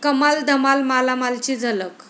कमाल धमाल मालामाल'ची झलक